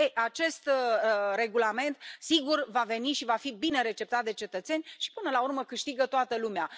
Ei, acest regulament sigur va veni și va fi bine receptat de cetățeni și, până la urmă, câștigă toată lumea.